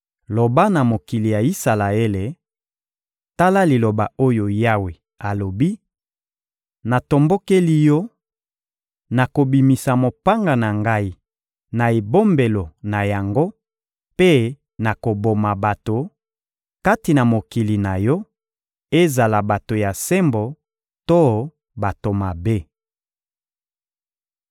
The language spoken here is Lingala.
Loba na mokili ya Isalaele: ‹Tala liloba oyo Yawe alobi: Natombokeli yo, nakobimisa mopanga na Ngai na ebombelo na yango mpe nakoboma bato, kati na mokili na yo, ezala bato ya sembo to bato mabe.